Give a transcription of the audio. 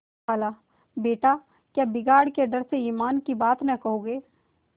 खालाबेटा क्या बिगाड़ के डर से ईमान की बात न कहोगे